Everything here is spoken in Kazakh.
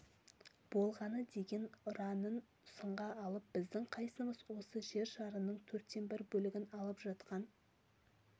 болғаны деген ұранын сынға алып біздің қайсымыз осы жер шарының төрттен бір бөлігін алып жатқан